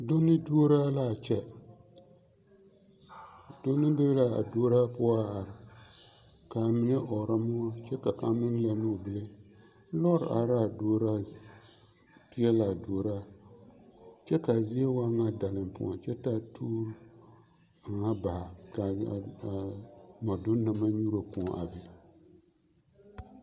Donne duoraa l'a kyɛ, donne be l'a duoraa poɔ a are k'a mine ɔɔrɔ moɔ kyɛ ka kaŋ meŋ lɛnnɛ o bile, lɔɔre araa duoraa peɛlaa duoraa kyɛ k'a zie waa ŋa dalempoɔ kyɛ taa tuuri aŋa baa k'a mɔdoone na maŋ nyuuro kõɔ a be.